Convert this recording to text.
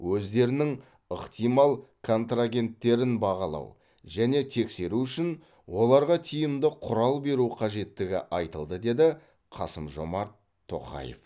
өздерінің ықтимал контрагенттерін бағалау және тексеру үшін оларға тиімді құрал беру қажеттігі айтылды деді қасым жомарт тоқаев